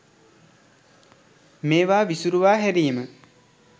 මේවා විසුරුවා හැරීම.